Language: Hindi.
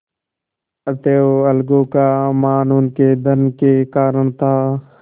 अतएव अलगू का मान उनके धन के कारण था